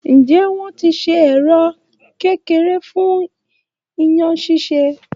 Nje, wọ́n ti ṣe ẹ̀rọ kékeré fun iyán ṣíṣe?